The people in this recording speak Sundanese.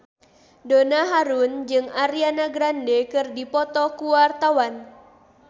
Donna Harun jeung Ariana Grande keur dipoto ku wartawan